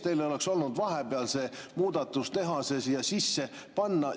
Teil oleks olnud vahepeal võimalik see muudatus teha, see sisse panna.